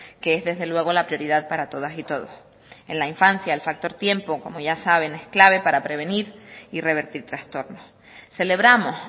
que es desde luego la prioridad para todas y todos en la infancia el factor tiempo como ya saben es clave para prevenir y revertir trastornos celebramos